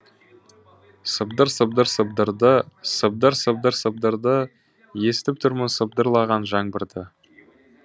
сыбдыр сыбдыр сыбдырды сыбдыр сыбдыр сыбдырды естіп тұрмын сыбдырлаған жаңбырды